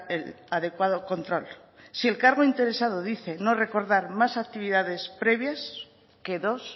el adecuado control si el cargo interesado dice no recordar más actividades previas que dos